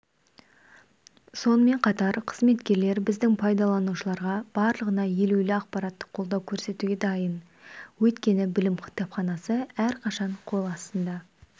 сонымен қатар қызметкерлер біздің пайдаланушыларға барлығына елеулі ақпараттық қолдау көрсетуге дайын өйткені білім кітапханасы әрқашан қол астында